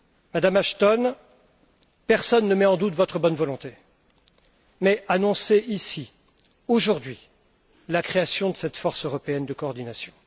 Madame Ashton, personne ne met en doute votre bonne volonté, mais annoncez ici, aujourd'hui, la création de cette force européenne de coordination.